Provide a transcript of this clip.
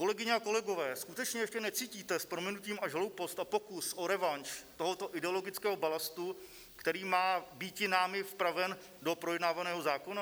Kolegyně, kolegové, skutečně ještě necítíte s prominutím až hloupost a pokus o revanš tohoto ideologického balastu, který má býti námi vpraven do projednávaného zákona?